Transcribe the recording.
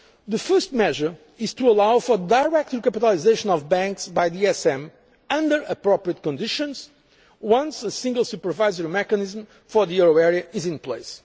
world. The first measure is to allow for direct recapitalisation of banks by the ESM under appropriate conditions once a single supervisory mechanism for the euro area is